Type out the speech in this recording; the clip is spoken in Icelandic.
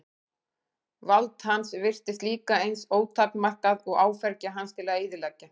Vald hans virtist líka eins ótakmarkað og áfergja hans til að eyðileggja.